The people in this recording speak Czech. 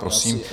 Prosím.